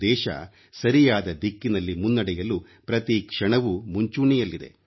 ದೇಶ ಸರಿಯಾದ ದಿಕ್ಕಿನಲ್ಲಿ ಮುನ್ನಡೆಯಲು ಪ್ರತಿ ಕ್ಷಣವೂ ಮುಂಚೂಣಿಯಲ್ಲಿದೆ